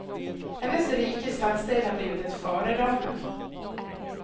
Hennes rika stadsdel har blivit ett föredöme.